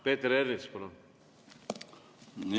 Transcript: Peeter Ernits, palun!